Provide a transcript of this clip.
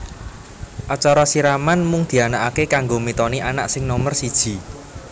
Acara siraman mung dianakake kanggo mitoni anak sing nomer siji